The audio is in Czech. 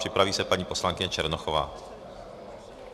Připraví se paní poslankyně Černochová.